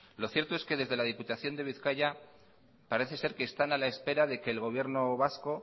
lo cierto es que desde la diputación de bizkaia parece ser que están a la espera de que el gobierno vasco